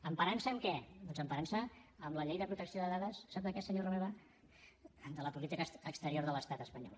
emparant se en què doncs emparant se en la llei de protecció de dades sap de què senyor romeva de la política exterior de l’estat espanyol